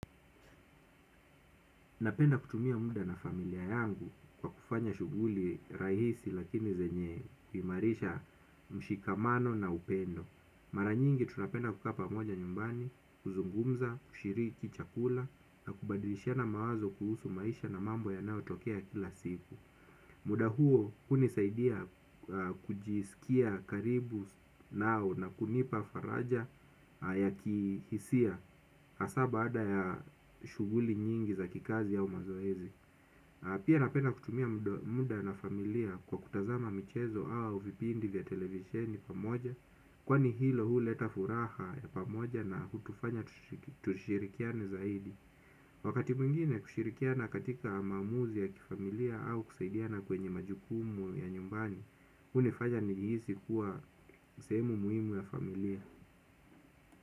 Napenda kutumia muda na familia yangu kwa kufanya shuguli rahisi lakini zenye kuimarisha mshikamano na upendo. Maranyingi tunapenda kuka pamoja nyumbani, kuzungumza, kushiriki chakula na kubadilishana mawazo kuhusu maisha na mambo yanao tokea kila siku. Muda huo kuni saidia kujisikia karibu nao na kunipa faraja ya kihisia asa ba ada ya shuguli nyingi za kikazi yao mazoezi. Pia napenda kutumia muda na familia kwa kutazama michezo au vipindi vya televisieni pamoja. Kwani hilo huu leta furaha ya pamoja na kutufanya tushirikiane zaidi. Wakati mwingine kushirikiana katika maamuzi ya kifamilia au kusaidiana kwenye majukumu ya nyumbani, hunifanya nijihisi kuwa sehemu muhimu ya familia.